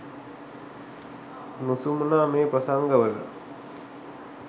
නුසුමනා මේ ප්‍රසංග වල